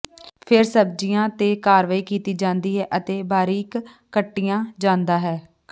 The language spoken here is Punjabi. ਫਿਰ ਸਬਜ਼ੀਆਂ ਤੇ ਕਾਰਵਾਈ ਕੀਤੀ ਜਾਂਦੀ ਹੈ ਅਤੇ ਬਾਰੀਕ ਕੱਟਿਆ ਜਾਂਦਾ ਹੈ